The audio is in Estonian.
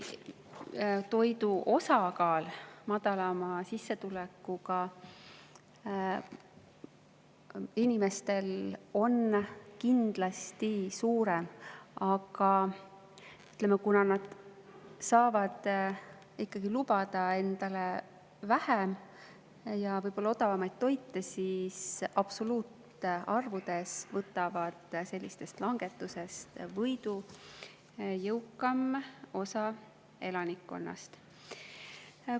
Toidu osakaal madalama sissetulekuga inimeste on küll kindlasti suurem, aga kuna nad saavad ikkagi lubada endale vähem ja võib-olla odavamat toitu, siis absoluutarvudes võtab selliste langetuste korral võidu jõukam osa elanikkonnast.